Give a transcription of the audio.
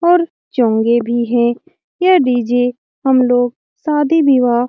और चोंगे भी है यह डी.जे. हमलोग शादी विवाह --